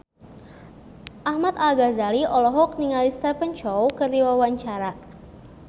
Ahmad Al-Ghazali olohok ningali Stephen Chow keur diwawancara